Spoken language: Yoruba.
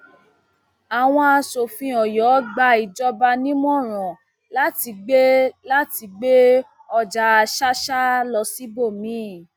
àwọn aṣòfin ọyọ gba ìjọba nímọràn láti gbé láti gbé ọjà ṣàṣà lọ síbòmí